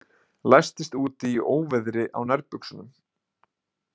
Læstist úti í óveðri á nærbuxunum